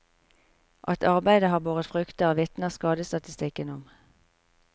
At arbeidet har båret frukter, vitner skadestatistikken om.